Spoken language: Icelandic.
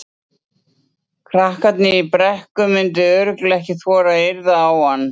Krakkarnir í Brekku myndu örugglega ekki þora að yrða á hann.